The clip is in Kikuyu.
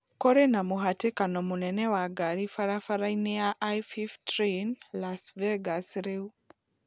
kũrĩ na mũhatĩkano mũnene wa ngari barabara-inĩ ya i fiftreen Las Vegas rĩu